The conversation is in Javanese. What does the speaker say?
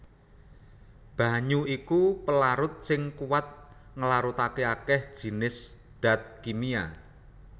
Banyu iku pelarut sing kuwat nglarutaké akèh jinis dat kimia